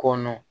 Kɔnɔ